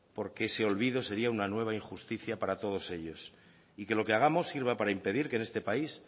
porque ese olvido sería una nueva injusticia para todos ellos y que lo que hagamos sirva para impedir que en este país